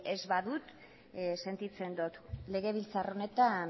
ez badut sentitzen dut legebiltzar honetan